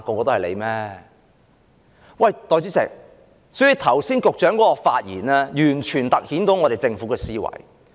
代理主席，局長剛才的發言完全凸顯了政府的思維。